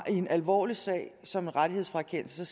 en alvorlig sag som en rettighedsfrakendelse